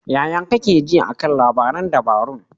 Yaya kake ji a kan labaran dabarun?